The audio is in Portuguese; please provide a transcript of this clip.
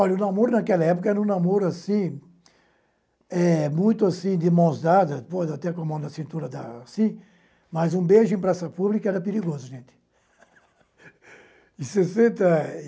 Olha, o namoro naquela época era um namoro, assim, eh muito assim, de mãos dadas, por até com a mão na cintura dar assim, mas um beijo em praça pública era perigoso, gente. em sessenta